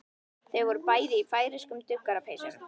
Þau voru bæði í færeyskum duggarapeysum.